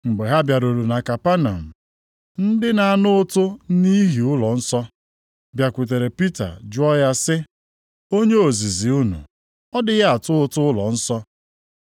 Mgbe ha bịaruru na Kapanọm, ndị na-ana ụtụ nʼihi ụlọnsọ + 17:24 Didrakma abụọ bụ ọnụ ego ụtụ ụlọnsọ. bịakwutere Pita jụọ ya sị, “Onye ozizi unu ọ dịghị atụ ụtụ ụlọnsọ?”